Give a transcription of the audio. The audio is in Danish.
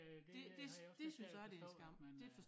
Øh det øh har jeg også lidt svært ved at forstå at man øh